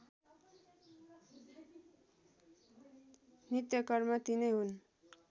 नित्यकर्म तिनै हुन्